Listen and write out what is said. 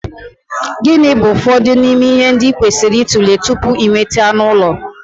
Gịnị bụ ụfọdụ n'ime ihe ndị ị kwesịrị ịtụle tupu ị nweta anụ ụlọ?